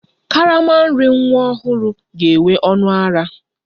Karama nri nwa ọhụrụ ga-enwe ọnụ ara